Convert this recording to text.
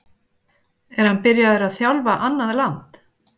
Er hann byrjaður að þjálfa annað land?